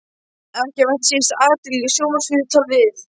Ekki vakti síst athygli sjónvarpsviðtal við